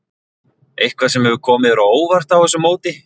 Eitthvað sem hefur komið þér á óvart á þessu móti?